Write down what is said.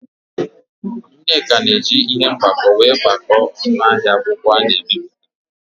Nneka na-eji ihe mgbako were gbakọọ ọnụ ahịa akwụkwọ ana-ebipụta.